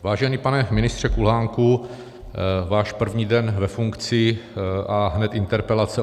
Vážený pane ministře Kulhánku, váš první den ve funkci, a hned interpelace.